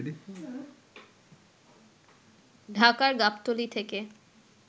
ঢাকার গাবতলী থেকে